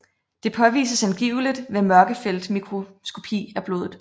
Det påvises angiveligt ved mørkefeltmikroskopi af blodet